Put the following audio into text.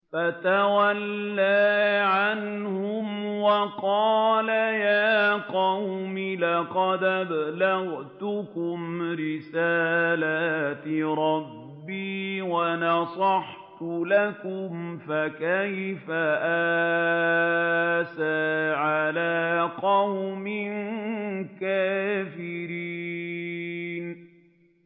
فَتَوَلَّىٰ عَنْهُمْ وَقَالَ يَا قَوْمِ لَقَدْ أَبْلَغْتُكُمْ رِسَالَاتِ رَبِّي وَنَصَحْتُ لَكُمْ ۖ فَكَيْفَ آسَىٰ عَلَىٰ قَوْمٍ كَافِرِينَ